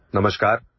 Audio